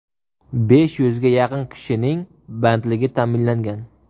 Besh yuzga yaqin kishining bandligi ta’minlangan.